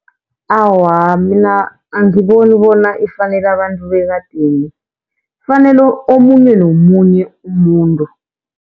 Awa, mina angiboni bona ifanela abantu bekadeni, ifanela omunye nomunye umuntu.